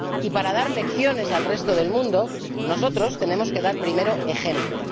Y para dar lecciones al resto del mundo, nosotros tenemos que dar primero ejemplo.